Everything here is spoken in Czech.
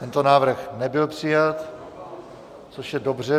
Tento návrh nebyl přijat, což je dobře.